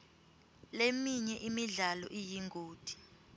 leminye imidlalo iyingoti